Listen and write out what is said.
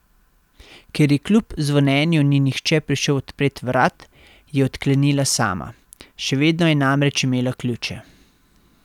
Ker ji kljub zvonjenju ni nihče prišel odpret vrat, je odklenila sama, še vedno je namreč imela ključe.